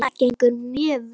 Vinnan gengur mjög vel.